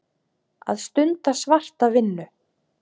Að stunda svarta vinnu.